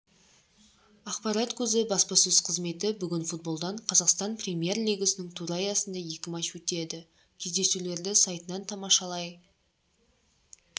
ақпарат көзі баспасөз қызметі бүгін футболдан қазақстан премьер-лигасының туры аясында екі матч өтеді кездесулерді сайтынан тамашалай